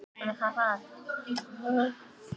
Sérðu hann? heyrði hann konu sína kalla frá tennisvellinum.